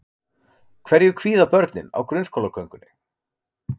Hverju kvíða börnin á grunnskólagöngunni?